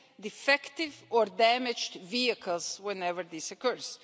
defective or damaged vehicles whenever this occurs.